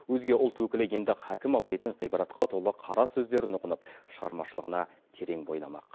өзге ұлт өкілі енді хәкім абайдың ғибратқа толы қара сөздерін ұғынып шығармашылығына терең бойламақ